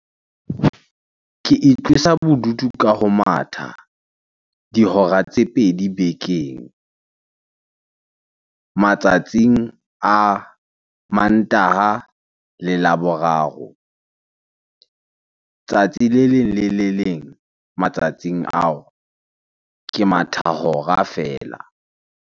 Ke itlosa bodutu ka ho matha dihora tse pedi bekeng. Matsatsing a Mantaha le Laboraro. Tsatsi le leng le le leng matsatsing ao, ke matha hora feela.